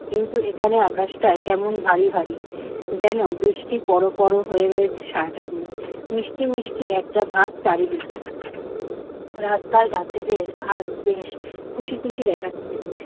কিন্তু এখানে আকাশটা কেমন ভারি ভারি। যেন বৃষ্টি পড়ো পড়ো হয়ে রয়েছে সারাটা দিন। মিষ্টি মিষ্টি একটা ভাব চারদিকে। রাস্তার গাছেদের আজ বেশ খুশি খুশি দেখাচ্ছে।